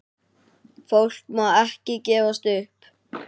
Fólk má ekki gefast upp.